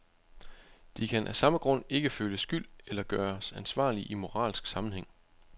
De kan af samme grund ikke føle skyld eller gøres ansvarlige i moralsk sammenhæng.